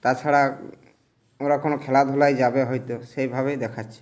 তাছারা উম ওরা কোনো খেলা ধুলায় যাবে হয়ত সেইভাবেই দেখাছে।